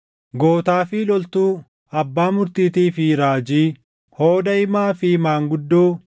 gootaa fi loltuu, abbaa murtiitii fi raajii, hooda himaa fi maanguddoo,